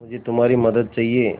मुझे तुम्हारी मदद चाहिये